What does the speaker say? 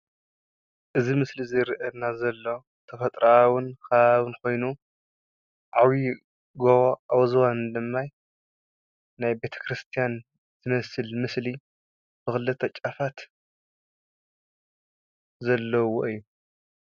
እዚይ ምስሊ ዝርኣየና ዘሎ ተፍጥራኣዊ ከባብን ኮይኑ ዓብይ ጎቦ ኣብ ዝባኑ ድማ ናይ ቤተ ክርስትያን ዝመስል ምስሊ ብክልተ ጫፋት ዘለዎ እዩ።